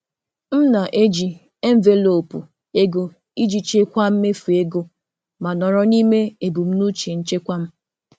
um M na-eji envelopu ego iji chịkwaa mmefu ma nọrọ n'ime ebumnuche nchekwa m. um